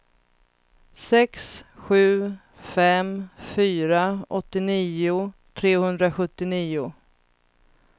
sex sju fem fyra åttionio trehundrasjuttionio